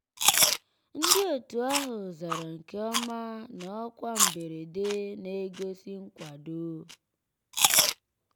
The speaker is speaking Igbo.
ndị́ ótú àhụ́ zàrà nkè ọ́má ná ọ́kwá mbérèdé ná-ègósì nkwàdó.